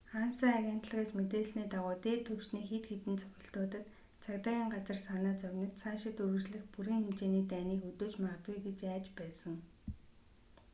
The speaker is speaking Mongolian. анса агентлагаас мэдээлсний дагуу дээд түвшний хэд хэдэн цохилтуудад цагдаагийн газар санаа зовниж цаашид үргэлжлэх бүрэн хэмжээний дайныг өдөөж магад гэж айж байсан